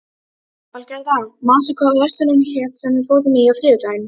Valgerða, manstu hvað verslunin hét sem við fórum í á þriðjudaginn?